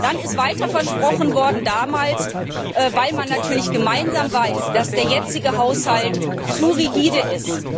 Dann ist damals Weiteres versprochen worden, weil man natürlich gemeinsam weiß, dass der jetzige Haushalt zu rigide ist.